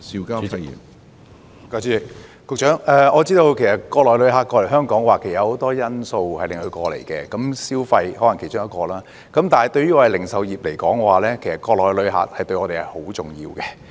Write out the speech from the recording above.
局長，我知道國內旅客來港的原因很多，購物消費可能是其中之一，但對於零售業而言，國內旅客十分重要。